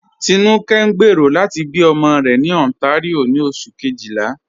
Tinúkẹ̀ ǹ gbéero lati bí ọmọ rẹ̀ ni Ontario ni Oṣù̀ kejìlá.